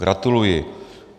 Gratuluji.